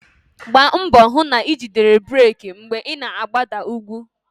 Gbaa mbọ hụ na ijidere breeki mgbe ị na-agbada ugwu